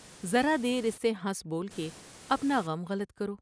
ذرا دیر اس سے ہنس بول کے اپناغم غلط کرو ۔